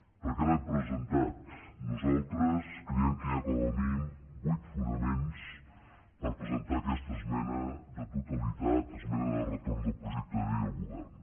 per què l’hem presentada nosaltres creiem que hi ha com a mínim vuit fonaments per presentar aquesta esmena de totalitat esmena de retorn del projecte de llei al govern